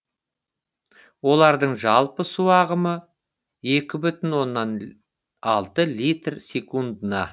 олардың жалпы су ағымы екі бүтін оннан алты литр секундына